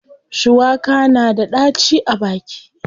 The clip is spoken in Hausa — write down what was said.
Shuwaka na da ɗaci a baki.